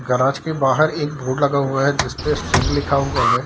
Garage के बाहर एक बोर्ड लगा हुआ है जिसपे सिंह लिखा हुआ है।